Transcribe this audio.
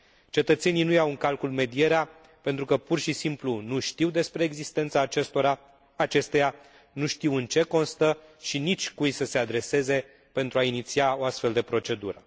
Cetățenii nu iau în calcul medierea, pentru că, pur și simplu, nu știu despre existența acesteia, nu știu în ce constă și nici cui să se adreseze pentru a iniția o astfel de procedură.